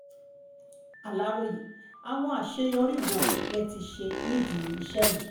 aláròye àwọn àṣeyọrí wo lẹ ti ṣe nídìí iṣẹ́ yìí